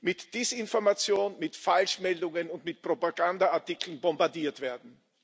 mit Desinformation, mit Falschmeldungen und mit Propagandaartikeln bombardiert werden.